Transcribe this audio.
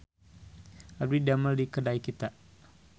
Abdi didamel di Kedai Kita